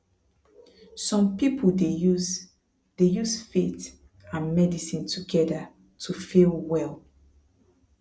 some people dey use dey use faith and medicine together to feel well